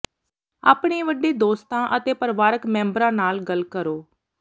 ਆਪਣੇ ਵੱਡੇ ਦੋਸਤਾਂ ਅਤੇ ਪਰਿਵਾਰਕ ਮੈਂਬਰਾਂ ਨਾਲ ਗੱਲ ਕਰੋ